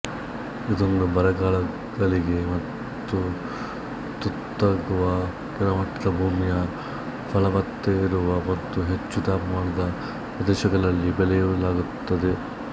ಇದನ್ನು ಬರಗಾಲಗಳಿಗೆ ತುತ್ತಾಗುವ ಕೆಳಮಟ್ಟದ ಭೂಮಿಯ ಫಲವತ್ತತೆಯಿರುವ ಮತ್ತು ಹೆಚ್ಚು ತಾಪಮಾನದ ಪ್ರದೇಶಗಳಲ್ಲಿ ಬೆಳಯಲಾಗುತ್ತದೆ